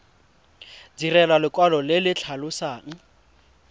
direlwa lekwalo le le tlhalosang